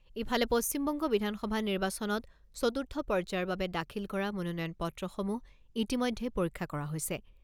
ইফালে পশ্চিমবংগ বিধানসভা নিৰ্বাচনত চতুৰ্থ পৰ্যায়ৰ বাবে দাখিল কৰা মনোনয়ন পত্ৰসমূহ ইতিমধ্যে পৰীক্ষা কৰা হৈছে।